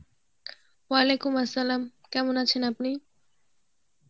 Arbi কেমন আছেন আপনি?